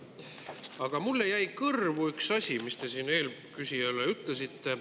Aga mulle jäi kõrvu üks asi, mis te eelküsijale ütlesite.